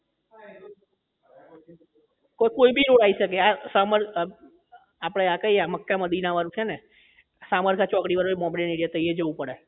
તો કોઈ બી એવું આવી શકે આ સમાન આ આપડે કઈ આ મક્કા મદીના વાળું છે ને શામળકા ચોકડી વાળું એ મોમેડન area છે તૈયા પણ જવું પડે